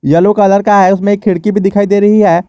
Yellow colour का है उसमें एक खिड़की भी दिखाई दे रही है।